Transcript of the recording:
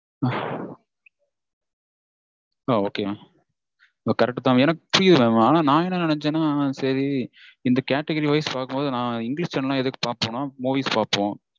ஆஹ் ok mam correct தா. எனக்கு புரியுது mam ஆனா நா என்ன நெனச்சேன்னா சரி இந்த category wise பாக்கும்போது இந்த english channel லாம் எதுக்கு பாப்போம்னா movies பாப்போம்